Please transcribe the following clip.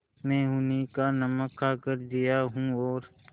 मैं उन्हीं का नमक खाकर जिया हूँ और